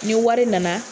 Ni wari nana